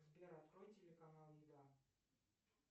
сбер открой телеканал еда